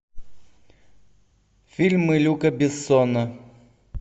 фильмы люка бессона